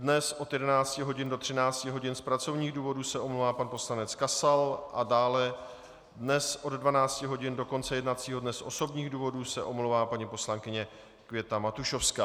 Dnes od 11 hodin do 13 hodin z pracovních důvodů se omlouvá pan poslanec Kasal a dále dnes od 12 hodin do konce jednacího dne z osobních důvodů se omlouvá paní poslankyně Květa Matušovská.